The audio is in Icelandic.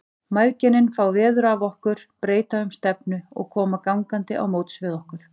Mæðginin fá veður af okkur, breyta um stefnu og koma gangandi á móts við okkur.